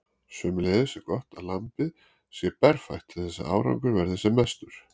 Sömuleiðis er gott að lambið sé berfætt til þess að árangur verði sem mestur.